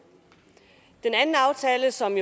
anden aftale som